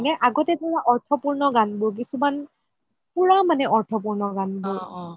মানে আগতে ধৰা অৰ্থপূৰ্ণ গান বোৰ কিছুমান পুৰা অৰ্থপূৰ্ণ গান বোৰ